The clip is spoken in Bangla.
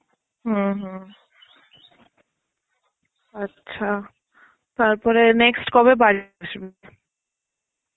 হম হম.আচ্ছা. তারপরে next কবে বাড়ি আসবি?